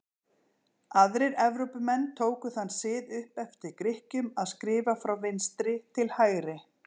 Aðrir Evrópumenn tóku þann sið upp eftir Grikkjum að skrifa frá vinstri til hægri.